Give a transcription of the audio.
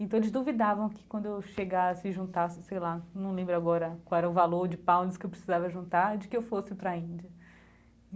Então, eles duvidavam que quando eu chegasse e juntasse, sei lá, não lembro agora qual era o valor de pounds que eu precisava juntar, de que eu fosse para a Índia.